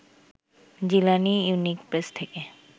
Jilani unique press থেকে